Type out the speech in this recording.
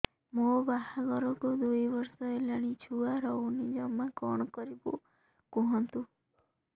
ମୋ ବାହାଘରକୁ ଦୁଇ ବର୍ଷ ହେଲାଣି ଛୁଆ ରହୁନି ଜମା କଣ କରିବୁ କୁହନ୍ତୁ